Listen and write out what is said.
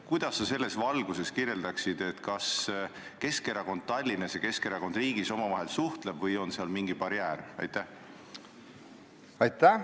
Kuidas sa selles valguses kirjeldaksid, kas Keskerakond Tallinnas ja Keskerakond riigis omavahel suhtlevad või on seal mingi barjäär?